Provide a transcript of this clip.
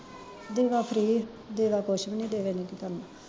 ਦੇਵਾ ਫ੍ਰੀ ਦੇਵਾ ਕੁਸ਼ ਵੀ ਨੀ ਦੇਵੇ ਨੀ ਕੀ ਕਰਨਾ